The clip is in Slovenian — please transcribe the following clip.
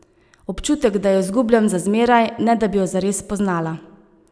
Občutek, da jo izgubljam za zmeraj, ne da bi jo zares spoznala...